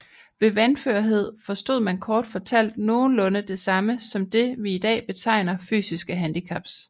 Ved vanførhed forstod man kort fortalt nogenlunde det samme som det vi i dag betegner fysiske handicaps